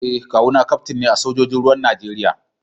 Eh kawu na kaftin ne a sojojin ruwan Najeriya